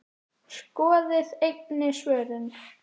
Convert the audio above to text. Skoðið einnig svörin